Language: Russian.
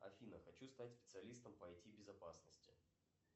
афина хочу стать специалистом по ай ти безопасности